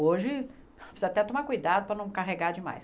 Hoje, precisa até tomar cuidado para não carregar demais.